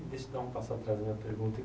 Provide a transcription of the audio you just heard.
Deixa eu dar um passo atrás da minha pergunta.